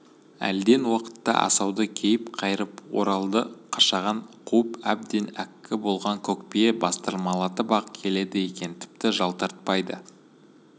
әлден уақытта асауды кейіп қайырып оралды қашаған қуып әбден әккі болған көкбие бастырмалатып-ақ келеді екен тіпті жалтартпайды